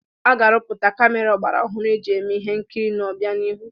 A ga-arụpụta kamera ọgbaraọhụrụ eji eme ihe nkiri n'ọbianihu.